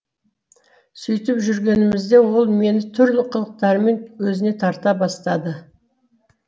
сөйтіп жүргенімізде ол мені түрлі қылықтарымен өзіне тарта бастады